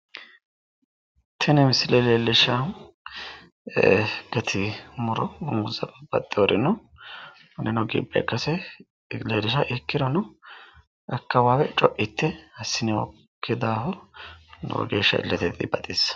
Tini misile leellishahu gate muro babbaxxewori no kunino ikkase leellishawo ikkirono akkawaawe coitte assinoyikki daafo lowo geeshsha illete dibaxissanno.